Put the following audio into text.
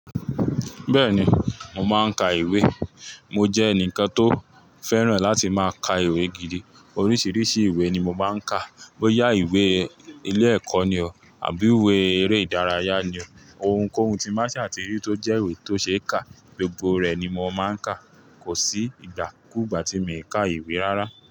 Bẹ́ẹ̀ni, mo máa ń ka ìwé. Mo jẹ́ ẹnìkan tó fẹ́ràn láti máa ka ìwé gidi. Oríṣiríṣi ìwé ni mo máa ń ka, bóyá ìwé ilé ẹ̀kọ́ ni o àbí ìwé eré ìdárayá ni o. Ohun kóhun tí n ba ṣaà ti rí tó jẹ́ ìwé tó ṣe é kà, gbogbo rẹ̀ ni mo máa ń kà. Kò sí ìgbàkúgbà tí mi i ka ìwé rárá.